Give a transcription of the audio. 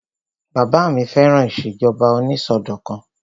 Bàbá mi fẹ́ràn ìṣèjọba onísọdọ̀kan